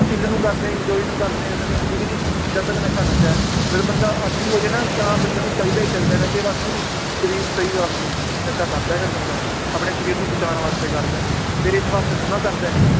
chill ਨੂੰ ਕਰਦੇ enjoy ਨੂੰ ਕਰਦੇ ਜਦੋਂ ਤੱਕ ਠੀਕ ਨੀ, ਜਦ ਤੱਕ ਨਸ਼ਾ ਨਸ਼ਾ ਹੈ ਬੰਦਾ ਆਦੀ ਹੋ ਜਾਏ ਨਾ ਵੀ ਹਾਂ ਬੰਦੇ ਨੂੰ ਚਾਹੀਦਾ ਹੀ ਚਾਹੀਦਾ ਨਸ਼ੇ ਵਾਸਤੇ ਨੀ, ਸਰੀਰ ਸਹੀ ਵਾਸਤੇ ਨਸ਼ਾ ਕਰਦਾ ਹੈ ਫਿਰ ਬੰਦਾ, ਆਪਣੇ ਸਰੀਰ ਨੂੰ ਬਚਾਉਣ ਵਾਸਤੇ ਕਰਦਾ ਹੈ, ਫਿਰ ਇਸ ਵਾਸਤੇ ਥੋੜ੍ਹੀ ਨਾ ਕਰਦਾ ਹੈ